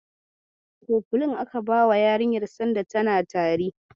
Kofilin aka bawa yarinyar sanda tana tari.